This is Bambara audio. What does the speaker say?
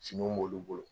Finiw b'olu bolo